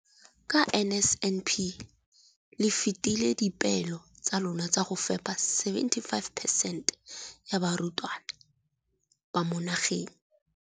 Ka NSNP le fetile dipeelo tsa lona tsa go fepa masome a supa le botlhano a diperesente ya barutwana ba mo nageng.